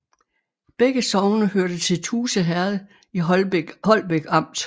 Begge sogne hørte til Tuse Herred i Holbæk Amt